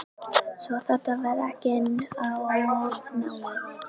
Svo þetta verði ekki of náið.